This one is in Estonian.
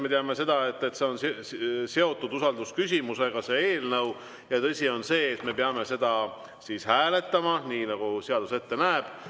Me teame, et see eelnõu on seotud usaldusküsimusega, ja tõsi on see, et me peame seda hääletama, nii nagu seadus ette näeb.